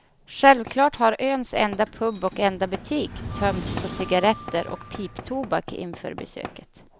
Självklart har öns enda pub och enda butik tömts på cigarretter och piptobak inför besöket.